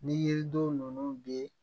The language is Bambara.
Ni yiriden ninnu bɛ